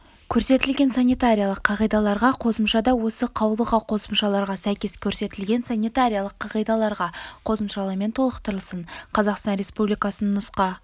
көрсетілген санитариялық қағидаларға қосымшада осы қаулыға қосымшаларға сәйкес көрсетілген санитариялық қағидаларға қосымшалармен толықтырылсын қазақстан республикасының нұска